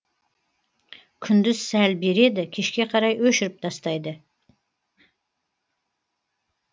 күндіз сәл береді кешке қарай өшіріп тастайды